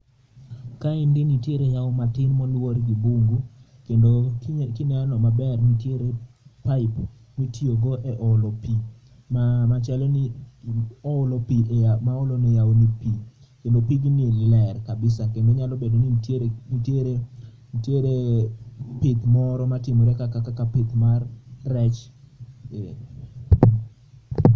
Kaendi nitiere yao matin ma oluor gi bungu kendo kineno maber nitiere pipe mitiyo go e olo pii, machalo ni oolo pii, maolo ne yao ni pii kendo pigni ler kabisa, kendo nyalo bedo ni nitiere pith moro matimore kaka pith mar rech